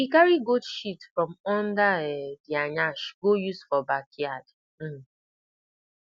e carry goat shit from under um dia yansh go use for backyard um